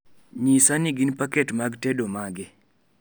nyisa ni gin paket mag tedo mage